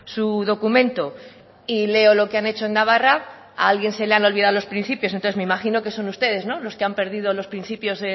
su documento y leo lo que han hecho en navarra a alguien se le han olvidado los principios entonces me imagino que son ustedes los que han perdido los principios